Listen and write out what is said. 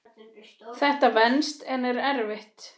Þetta venst en er erfitt.